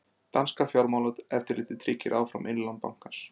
Danska fjármálaeftirlitið tryggir áfram innlán bankans